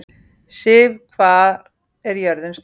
Siv, hvað er jörðin stór?